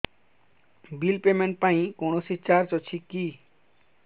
bill payment ପାଇଁ କୌଣସି charge ଅଛି କି